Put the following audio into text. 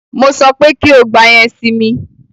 Mo sọ pé kí o gba yẹn si mi!